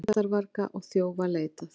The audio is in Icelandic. Skemmdarvarga og þjófa leitað